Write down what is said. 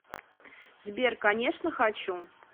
сбер конечно хочу